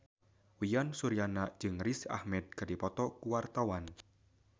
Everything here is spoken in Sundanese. Uyan Suryana jeung Riz Ahmed keur dipoto ku wartawan